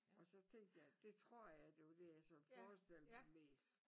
Og så tænkte jeg det tror jeg det var det jeg sådan forestillede mig mest